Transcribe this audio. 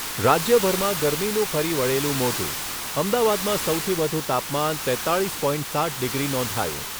રાજ્યભરમાં ગરમીનું ફરી વળેલું મોજું, અમદાવાદમાં સૌથી વધુ તાપમાન તેત્તાળીસ પોઈન્ટ સાત ડિગ્રી નોંધાયું.